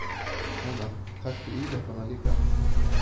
Hana, taktu íleppana líka.